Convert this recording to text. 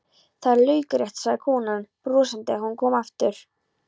Það er laukrétt, sagði konan brosandi þegar hún kom aftur.